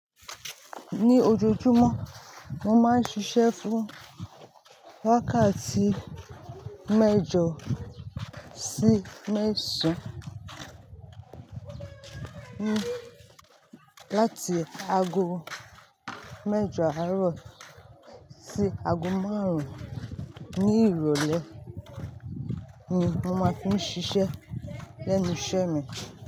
Ní ojoojúmọ́ mo máa ń ṣiṣẹ́ fún wákàtí mẹ́jọ sí mẹ́sàn-án, láti ago mẹ́jọ àárọ̀ sí ago márùn-ún ní ìrólé ni mo máa fi ń ṣiṣẹ́ lẹ́nu iṣẹ́ mi.